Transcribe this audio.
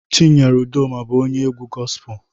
chinyere Udoma bu onye egwu gospelu